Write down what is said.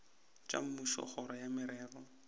tša mmušo kgoro ya merero